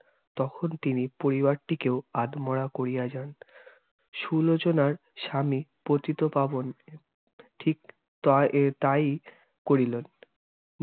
তখন তিনি পরিবারটিকেও আদমরা করিয়া যান সুলোচনার স্বামী পতিত পাবন ঠিক তা~ এর তাই করিলেন।